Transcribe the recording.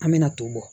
An bɛna ton bɔ